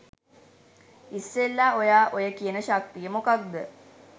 ඉස්සෙල්ලා ඔයා ඔය කියන ශක්තිය මොකක්ද